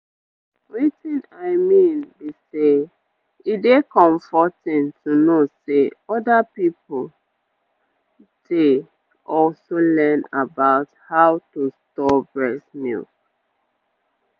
wetin i mean be say e dey comforting to know say other peopledey also learn about how to store breast milk